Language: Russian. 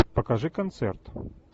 покажи концерт